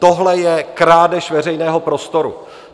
Tohle je krádež veřejného prostoru.